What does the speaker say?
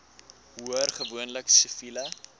hoor gewoonlik siviele